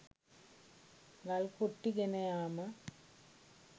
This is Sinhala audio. ගල් කුට්ටි ගෙන යාම